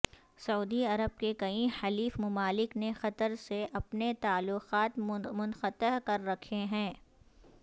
سعودی Arab کے کئی حلیف ممالک نے قطر سے اپنے تعلقات منقطع کر رکھے ہیں